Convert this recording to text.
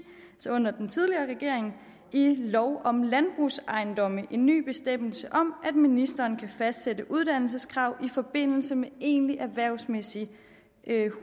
under den tidligere regering i lov om landbrugsejendomme en ny bestemmelse om at ministeren kan fastsætte uddannelseskrav i forbindelse med egentligt erhvervsmæssigt